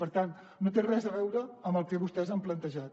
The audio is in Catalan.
per tant no té res a veure amb el que vostès han plantejat